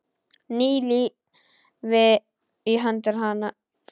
Ný lífi í hendur hennar.